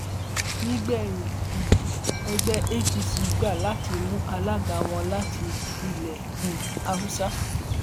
nígbẹyìn um ẹgbẹ apc gbà láti mú alága wọn láti ilẹ um haúsá